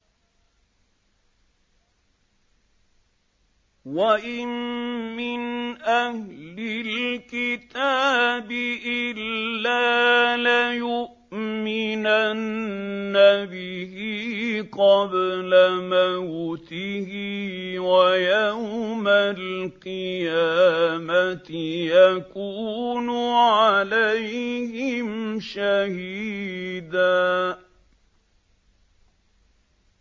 وَإِن مِّنْ أَهْلِ الْكِتَابِ إِلَّا لَيُؤْمِنَنَّ بِهِ قَبْلَ مَوْتِهِ ۖ وَيَوْمَ الْقِيَامَةِ يَكُونُ عَلَيْهِمْ شَهِيدًا